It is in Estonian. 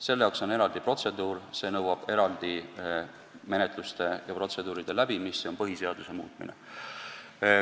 Selle jaoks on eraldi protseduur, see nõuab eraldi menetluste läbimist, see on põhiseaduse muutmine.